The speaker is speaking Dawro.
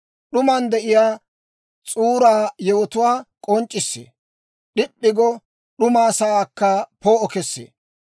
«D'uman de'iyaa S'uura yewotuwaa k'onc'c'issee; d'ip'p'i go d'uma sa'aakka poo'o kessee.